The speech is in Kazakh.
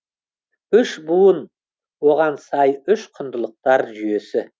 үш буын оған сай үш құндылықтар жүйесі